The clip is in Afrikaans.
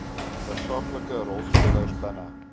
tersaaklike rolspelers binne